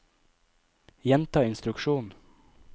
gjenta instruksjon